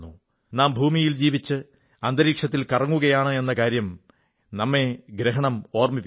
നാം ഭൂമിയിൽ ജീവിച്ച് അന്തരീക്ഷത്തത്തിൽ കറങ്ങുകയാണെന്ന കാര്യം നമ്മെ ഗ്രഹണം ഓർമ്മിപ്പിക്കുന്നു